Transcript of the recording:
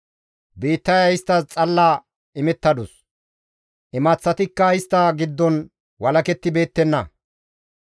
Biittaya isttas xalla imettadus; imaththatikka istta giddon walakettibeettenna.